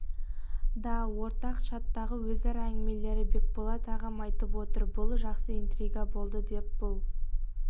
да ортақ чаттағы өзара әңгімелері бекболат ағам айтып отыр бұл жақсы интрига болды деп бұл